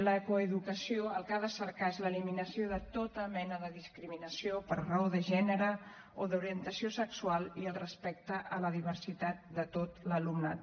la coeducació el que ha de cercar és l’eliminació de tota mena de discriminació per raó de gènere o d’orientació sexual i el respecte a la diversitat de tot l’alumnat